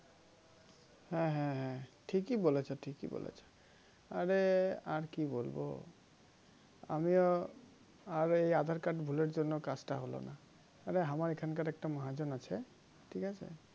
হ্যাঁ হ্যাঁ হ্যাঁ ঠিকই বলেছ ঠিকই বলেছ আরে আর কি বলব আমিও আর এই aadhar card ভুলের জন্য কাজটা হলো না আরে আমার এখানকার একটা মহা জন আছে ঠিক আছে